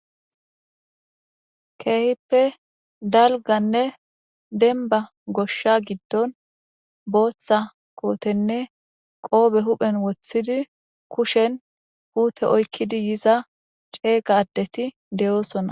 Keehippe dalgganne dembba goshsha giddon booththa kootenne qoobe huphen woththidi kushen puute oykidi yiza ceega addeti de'osona.